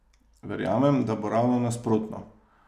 Verjamem, da bo ravno nasprotno.